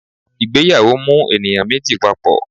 Ìgbéyàwó mú eníyan mejí papọ